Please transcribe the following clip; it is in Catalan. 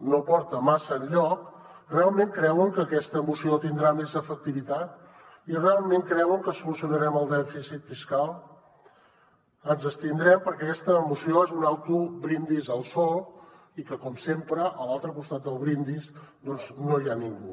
no porta massa enlloc realment creuen que aquesta moció tindrà més efectivitat i realment creuen que solucionarem el dèficit fiscal ens abstindrem perquè aquesta moció és un autobrindis al sol i com sempre a l’altre costat del brindis doncs no hi ha ningú